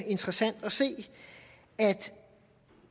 interessant at se at